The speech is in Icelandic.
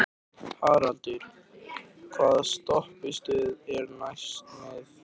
Haraldur, hvaða stoppistöð er næst mér?